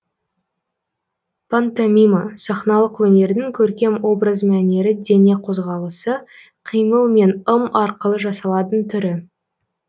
пантомима сахналық өнердің көркем образ мәнері дене қозғалысы қимыл мен ым арқылы жасалатын түрі